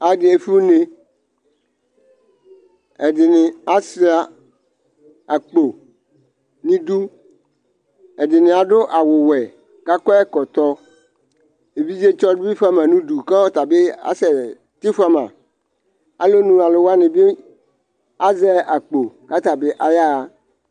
Adɩ efue une Ɛdɩnɩ ashua akpo nʋ idu, ɛdɩnɩ adu aɣʋ ɔwɛ kʋ akɔ ɛkɔtɔ Evidzetsɔ dɩ bɩ fua ma nʋ ʋdʋ kʋ ɔta bɩ asɛ tɩfʋama Alɔnʋ alʋ wanɩ bɩ azɛ akpo kʋ ata bɩ ayaɣa